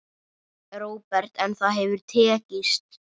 Róbert: En það hefur tekist?